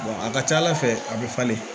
a ka ca ala fɛ a bɛ falen